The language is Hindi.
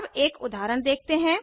अब एक उदाहरण देखते हैं